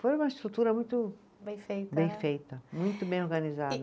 Foi uma estrutura muito. Bem feita, né. Bem feita, muito bem organizada.